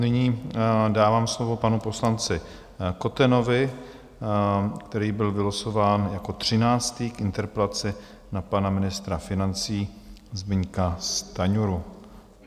Nyní dávám slovo panu poslanci Kotenovi, který byl vylosován jako třináctý k interpelaci na pana ministra financí Zbyňka Stanjuru.